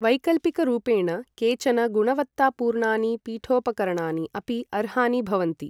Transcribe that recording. वैकल्पिकरूपेण केचन गुणवत्तापूर्णानि पीठोपकरणानि अपि अर्हानि भवन्ति।